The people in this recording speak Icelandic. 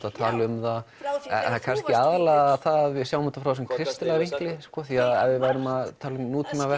að tala um það það er kannski aðallega það að við sjáum þetta frá þessum kristilega vinkli því ef við værum að tala um